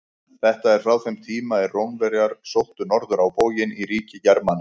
Þetta er frá þeim tíma er Rómverjar sóttu norður á bóginn í ríki Germana.